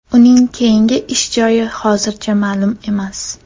Uning keyingi ish joyi hozircha ma’lum emas.